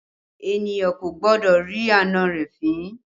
Èniyàn kò gbọ́dọ̀ rí àna rẹ̀ fín